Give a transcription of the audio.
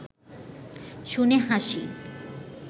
শুনে হাসি